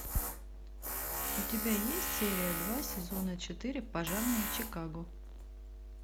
у тебя есть серия два сезона четыре пожарные чикаго